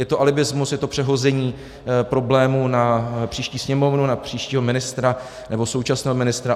Je to alibismus, je to přehození problému na příští Sněmovnu, na příštího ministra, nebo současného ministra.